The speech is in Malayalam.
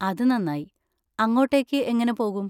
അത് നന്നായി. അങ്ങോട്ടേക്ക് എങ്ങനെ പോകും?